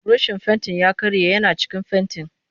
Burushin fentin ya karye yana cikin fenti